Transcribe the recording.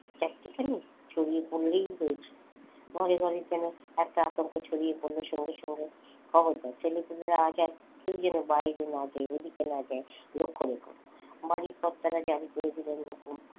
চাট্টিখানি? ছড়িয়ে পড়লেই হয়েছে বাড়ি বাড়ি যেন একটা আতঙ্ক ছড়িয়ে পড়লো সঙ্গে সঙ্গে খবরদার ছেলেপুলেরা আজ আর কেউ যেন বাইরে না যায় ওদিকে না যায় লক্ষ্য রেখো বাড়ির কর্তারা জারি করে দিলেন হুকুম।